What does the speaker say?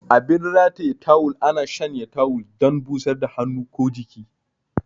Abin rataye tawul ana shanya tawul dan busar da hannu ko jiki.